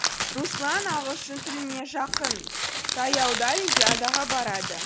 руслан ағылшын тіліне жақын таяуда олимпиадаға барады